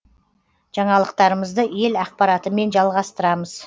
жаңалықтарымызды ел ақпаратымен жалғастырамыз